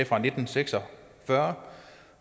fra nitten seks og fyrre